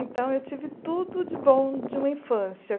Então, eu tive tudo de bom de uma infância.